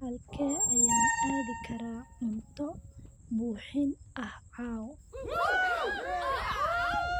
Halkee ayaan aadi karaa cunto buuxin ah caawa?